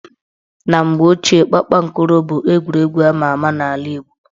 Na mgbe ochie, kpakpankoro bụ egwuregwu ama ama n' ala Igbo